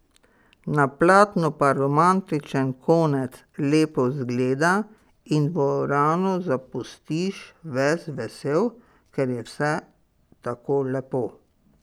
Na platnu pa romantičen konec lepo zgleda in dvorano zapustiš ves vesel, ker je vse tako lepo.